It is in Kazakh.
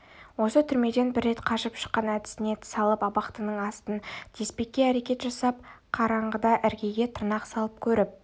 осы түрмеден бір рет қашып шыққан әдісіне салып абақтының астын теспекке әрекет жасап қараңғыда іргеге тырнақ салып көріп